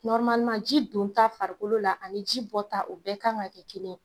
ji don ta farikolo la, ani ji bɔta o bɛɛ kan ka kɛ kelen ye.